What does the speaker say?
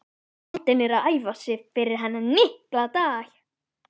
Skáldin eru að æfa sig fyrir þennan mikla dag.